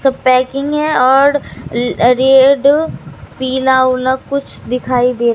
सब पैकिंग हैं और ल रेड पीला विला कुछ दिखाई दे--